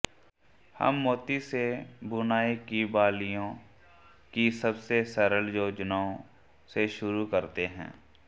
हम मोती से बुनाई की बालियों की सबसे सरल योजनाओं से शुरू करते हैं